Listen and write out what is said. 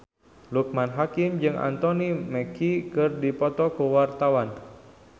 Loekman Hakim jeung Anthony Mackie keur dipoto ku wartawan